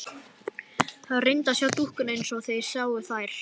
Hann reyndi að sjá dúkkuna eins og þeir sáu þær.